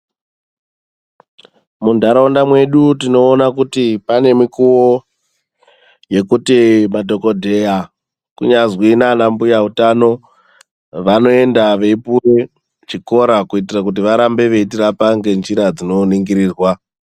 Muntaraunda mwedu tinoona kuti pane mikuwo yekuti madhogodheya kunyazwi naanambuya utano vanoenda veipuwe chikora kuitire kuti varambe veitirapa ngenjira dzinoningirirwa.